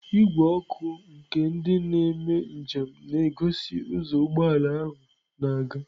Igwe ọkụ nke ndị na-eme njem na-egosi ụzọ ụgbọ ala ahụ na-aga.